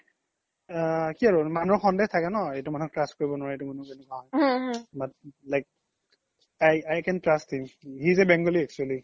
অ কি আৰু ন মানুহৰ সন্ধে থাকে ন এইটো মানুহক trust কৰিব এইটো মানুহ এনেকুৱা but i can trust him but he is a bengali actually